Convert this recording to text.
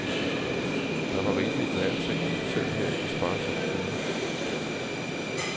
Der var rigeligt med alting selv her i de sparsomme tider.